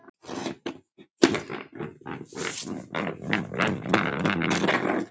Hins vegar kvaðst Einar